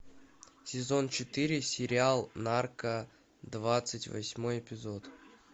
сезон четыре сериал нарко двадцать восьмой эпизод